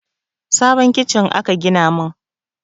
Sabon kicin aka gina min